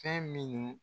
Fɛn minnu